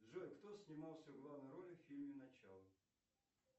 джой кто снимался в главной роли в фильме начало